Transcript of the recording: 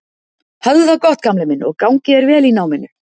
Hafðu það gott gamli minn og gangi þér vel í náminu.